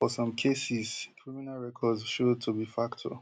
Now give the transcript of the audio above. for some cases criminal records show to be factor